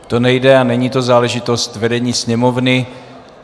To nejde a není to záležitost vedení Sněmovny.